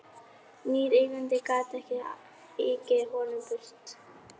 Nýr eigandi gat þá ekið honum burt.